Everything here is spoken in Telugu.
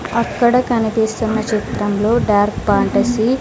అక్కడ కనిపిస్తున్న చిత్రంలో డార్క్ పాంటసీ --